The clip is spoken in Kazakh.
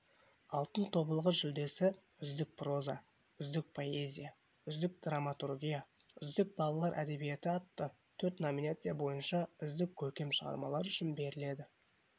алтын тобылғы жүлдесі үздік проза үздік поэзия үздік драматургия үздік балалар әдебиеті атты төрт номинация бойынша үздік көркем шығармалар үшін беріледі